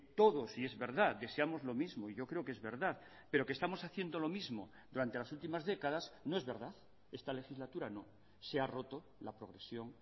todos y es verdad deseamos lo mismo yo creo que es verdad pero que estamos haciendo lo mismo durante las últimas décadas no es verdad esta legislatura no se ha roto la progresión